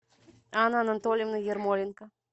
анна анатольевна ермоленко